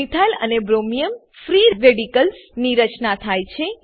methyl અને bromium free radicals ની રચના થાય છે